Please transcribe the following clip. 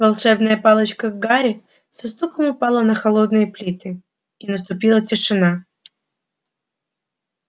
волшебная палочка гарри со стуком упала на холодные плиты и наступила тишина